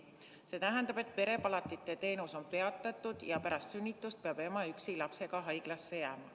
See tähendab, et perepalatite teenus on peatatud ja pärast sünnitust peab ema üksi lapsega haiglasse jääma.